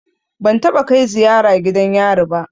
Ban taɓa kai ziyara gidan yari ba.